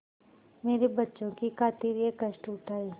मेरे बच्चों की खातिर यह कष्ट उठायें